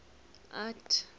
art